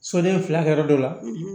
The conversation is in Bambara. Soden fila kɛ yɔrɔ dɔ la